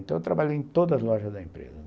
Então eu trabalhei em todas as lojas da empresa.